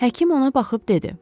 Həkim ona baxıb dedi.